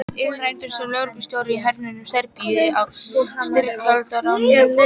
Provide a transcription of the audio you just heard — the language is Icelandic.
Illræmdur sem lögreglustjóri í hernuminni Serbíu á styrjaldarárunum.